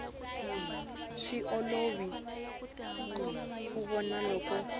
swi olovi ku vona loko